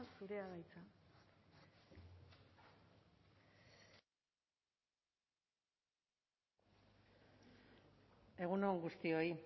zurea da hitza egun on guztioi